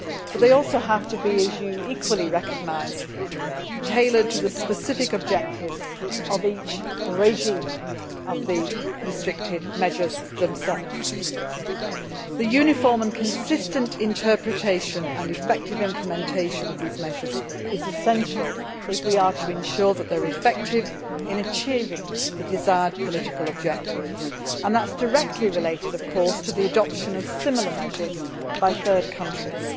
They also, as you equally recognise, have to be tailored to the specific objectives of each restrictive measures regime. The uniform and consistent interpretation and effective implementation of these measures is essential if we are to ensure that they are effective in achieving the desired political objective, and that is directly related, of course, to the adoption of similar measures by third countries.